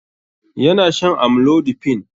Yana shan amlodipine